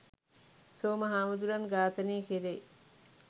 සෝම හාමුදුරුවන් ඝාතනය කරේ